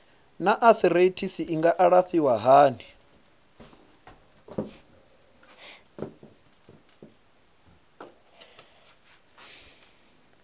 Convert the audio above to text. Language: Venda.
naa arthritis i nga alafhiwa hani